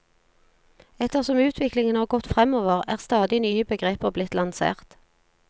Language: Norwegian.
Etter som utviklingen har gått fremover, er stadig nye begreper blitt lansert.